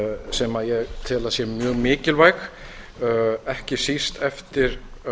sem ég tel að sé mjög mikilvæg ekki síst eftir